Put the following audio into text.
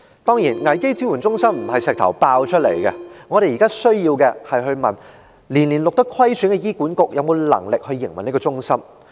當然，危機支援中心並非破石而出，我們現在要問的是：虧損年年的醫院管理局有否能力營運這個中心？